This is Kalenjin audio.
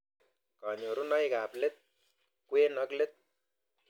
Kanyorunoik ab let, kwen, ak let